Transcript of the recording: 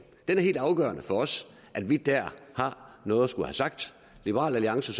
det er helt afgørende for os at vi dér har noget at skulle have sagt liberal alliance